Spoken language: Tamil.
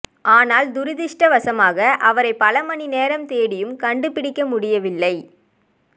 ஆனால் துரதிஷ்டவசமாக அவரை பல மணி நேரம் தேடியும் கண்டுபிடிக்க முடியவில்லை